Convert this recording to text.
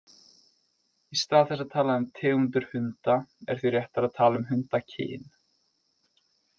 Í stað þess að tala um tegundir hunda er því réttara að tala um hundakyn.